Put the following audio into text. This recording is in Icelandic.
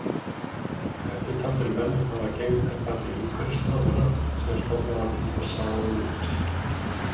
Eftirtaldir menn hafa gegnt embætti umhverfisráðherra síðan stofnað var til þessa ráðuneytis.